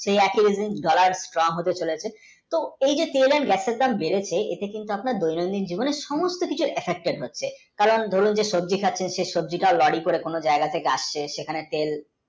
সেই একি রকম dollar, strong হয়ে চলেছে তো এই যে maximum সমস্ত কিছু affected হচ্ছে আমরা যে দৈনন্দিন জীবনে শাক সবজি সবজি শাক যে কোনও জায়গায় থেকে আসছে